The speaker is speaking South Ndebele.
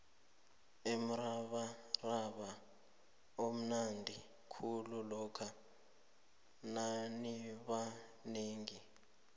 umrabaraba umnandi khulu lokha nanibanengi